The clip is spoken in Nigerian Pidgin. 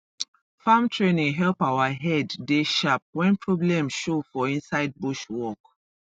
farm training help our head dey sharp when problem show for inside bush work